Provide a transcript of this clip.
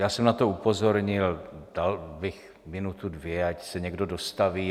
Já jsem na to upozornil, dal bych minutu, dvě, ať se někdo dostaví.